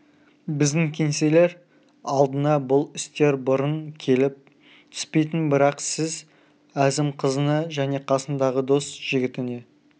біздің кеңселер алдына бұл істер бұрын келіп түспейтін бірақ сіз әзім қызына және қасындағы дос жігітіне